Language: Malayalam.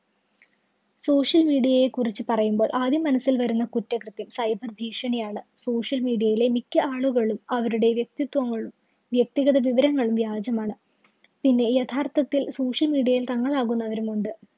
social media യെ കുറിച്ചു പറയുമ്പോള്‍ ആദ്യം മനസ്സില്‍ വരുന്ന കുറ്റകൃത്യം cyber ഭീഷണിയാണ്. social media യിലെ മിക്ക ആളുകളും അവരുടെ വ്യക്തിത്വങ്ങളും, വ്യക്തിഗത വിവരങ്ങളും വ്യാജമാണ്. പിന്നെ യഥാര്‍ത്ഥത്തില്‍ social media ൽ തങ്ങളാവുന്നവരും ഉണ്ട്.